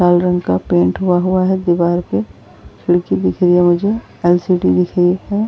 लाल रंग का पेंट हुआ हुआ है दीवार पे । खिड़की दिख रही है मुझे। एलसीडी दिख रही है।